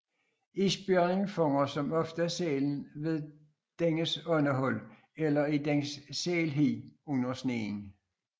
Isbjørnen fanger som oftest sælen ved dennes åndehul eller i dens sælhi under sneen